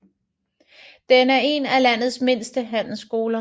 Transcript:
Den er en af landets mindste handelsskoler